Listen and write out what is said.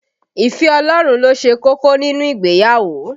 Ìfẹ́ Ọlọ́run ló ṣe kókó nínú ìgbéyàwó